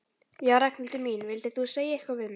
Já, Ragnhildur mín. vildir þú segja eitthvað við mig?